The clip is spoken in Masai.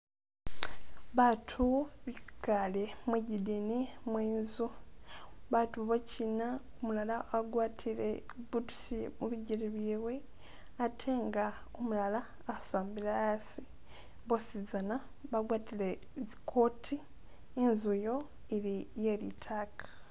Baatu bikale mwigidini mwenzu, baatubochina umulala agwatile bootusi mubigele byewe atenga umulala asambile haasi, bwosizana bagwatile zikooti, inzu iyo ili ye litaaka.